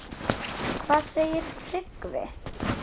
Hvað segir Tryggvi?